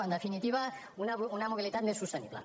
en definitiva una mobilitat més sostenible